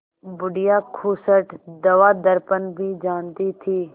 बुढ़िया खूसट दवादरपन भी जानती थी